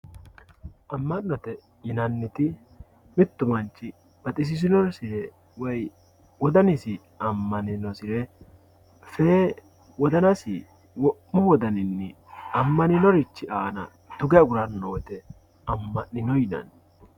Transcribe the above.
ama'note yinanniti mittu manch gatisisinosire woy wodanisi amaninosire fee wodanasi wo'mu wodaninni amaninorich aana tuge agurannowote ama'nino yinanni.